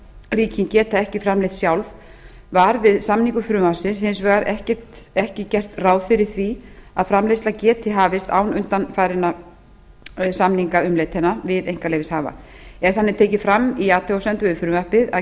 ríkin geta ekki framleitt sjálf var við samningu frumvarpsins hins vegar ekki gert ráð fyrir því að framleiðsla geti hafist án undanfarinna samningaumleitana við einkaleyfishafa er þannig tekið fram í athugasemdum við frumvarpið að